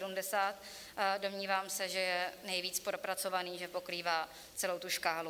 Domnívám se, že je nejvíc propracovaný, že pokrývá celou tu škálu.